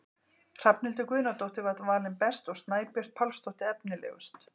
Hrafnhildur Guðnadóttir var valin best og Snæbjört Pálsdóttir efnilegust.